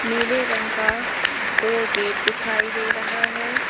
नीले रंग का दो गेट दिखाई दे रहा है।